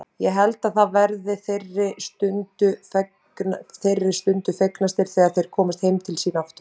Ég held að þeir verði þeirri stundu fegnastir þegar þeir komast heim til sín aftur.